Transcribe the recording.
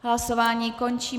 Hlasování končím.